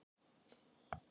Við erum á Lækjargötu.